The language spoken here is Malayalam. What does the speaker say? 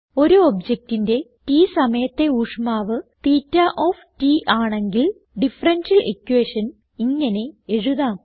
ഒരു ഒബ്ജക്റ്റിന്റെ t സമയത്തെ ഊഷ്മാവ് തേറ്റ ഓഫ് t ആണെങ്കിൽ ഡിഫറൻഷ്യൽ ഇക്വേഷൻ ഇങ്ങനെ എഴുതാം